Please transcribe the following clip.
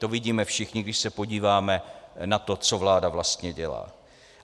To vidíme všichni, když se podíváme na to, co vláda vlastně dělá.